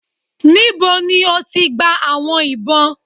Níbò̀ ni o tì gbà àwọn ìbọn?